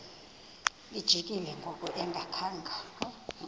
lijikile ngoku engakhanga